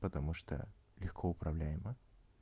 потому что легко управляема